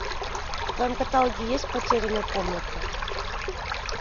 в твоем каталоге есть потерянная комната